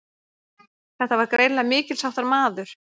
Þetta var greinilega mikilsháttar maður.